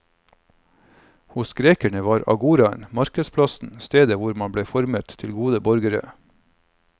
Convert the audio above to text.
Hos grekerne var agoraen, markedsplassen, stedet hvor man ble formet til gode borgere.